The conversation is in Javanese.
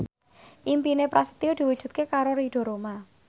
impine Prasetyo diwujudke karo Ridho Roma